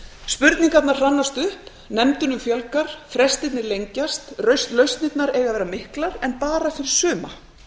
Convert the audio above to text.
spurningarnar hrannast upp nefndunum fjölgar frestirnir lengjast lausnirnar eiga að vera miklar en bara fyrir suma